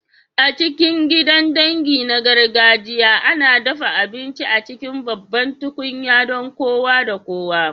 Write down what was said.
A cikin gidan dangi na gargajiya, ana dafa abinci a cikin babban tukunya don kowa da kowa.